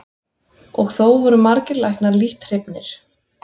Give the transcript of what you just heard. Og þó voru margir læknar lítt hrifnir.